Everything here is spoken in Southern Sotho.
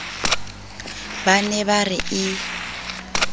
ba ne ba re e